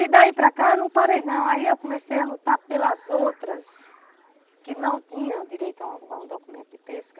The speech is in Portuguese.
E daí para cá eu não parei não, aí eu comecei a lutar pelas outras que não tinham direito a um a um documento de pesca.